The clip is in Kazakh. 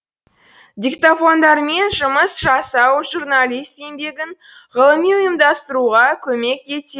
диктофондармен жұмыс жасау журналист еңбегін ғылыми ұйымдастыруға көмек етеді